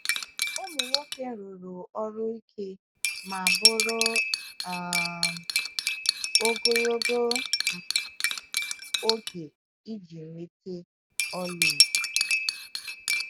Ụmụ nwoke rụrụ ọrụ ike ma bụrụ um ogologo um oge iji nweta ọlaedo.